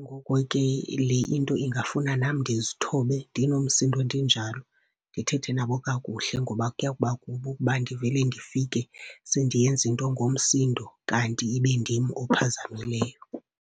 Ngoko ke le into ingafuna nam ndizithobe, ndinomsindo ndinjalo, ndithethe nabo kakuhle ngoba kuya kuba kubi ukuba ndivele ndifike sendiyenza into ngomsindo kanti ibindim ophazamileyo.